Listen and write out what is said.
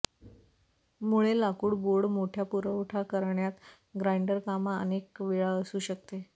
मुळे लाकूड बोर्ड मोठ्या पुरवठा करण्यात ग्राइंडर कामा अनेक वेळा असू शकते